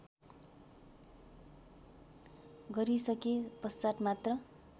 गरिसके पश्चात् मात्र